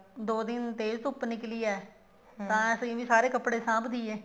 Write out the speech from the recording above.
ਦੋ ਦਿਨ ਤੇਜ਼ ਧੁੱਪ ਨਿਕਲੀ ਹੈ ਤਾਂ ਅਸੀਂ ਵੀ ਸਾਰੇ ਕੱਪੜੇ ਸਾਂਭ ਦਈਏ